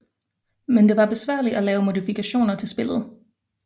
Men det var besværligt at lave modifikationer til spillet